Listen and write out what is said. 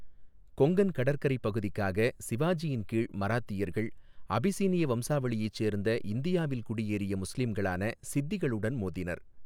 கொங்கன் கடற்கரைப் பகுதிக்காக சிவாஜியின் கீழ் மராத்தியர்கள் அபிசினிய வம்சாவளியைச் சேர்ந்த இந்தியாவில் குடியேறிய முஸ்லிம்ளான சித்திகளுடன் மோதினர்.